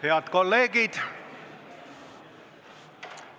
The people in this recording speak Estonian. Head kolleegid!